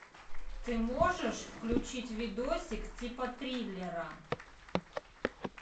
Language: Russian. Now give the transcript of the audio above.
ты можешь включить видосик типа триллера